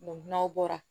n'aw bɔra